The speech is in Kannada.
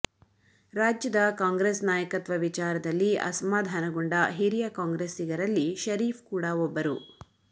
ರಾಜ್ಯದ ಕಾಂಗ್ರೆಸ್ ನಾಯಕತ್ವ ವಿಚಾರದಲ್ಲಿ ಅಸಮಾಧಾನಗೊಂಡ ಹಿರಿಯ ಕಾಂಗ್ರೆಸ್ಸಿಗರಲ್ಲಿ ಷರೀಫ್ ಕೂಡ ಒಬ್ಬರು